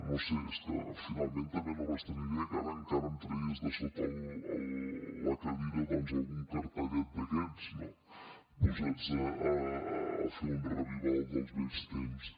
no ho sé és que finalment també no m’estranyaria que ara encara em tragués de sota de la cadira doncs algun cartellet d’aquests no posats a fer un revival dels vells temps